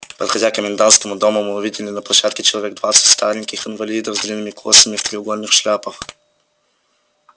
подходя к комендантскому дому мы увидели на площадке человек двадцать стареньких инвалидов с длинными косами и в треугольных шляпах